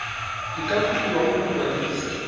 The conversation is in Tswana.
di ka kopiwa go mokwadise